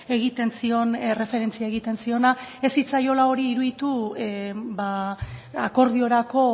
egiten zion erreferentzia egiten ziona ez zitzaiola hori iruditu akordiorako